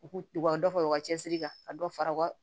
U k'u ka dɔ fara u ka cɛsiri kan ka dɔ fara u ka